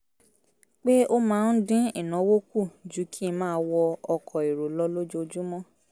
pé ó máa ń dín ìnáwó kù ju kí n máa wọ ọkọ̀ èrò lọ lójoojúmọ́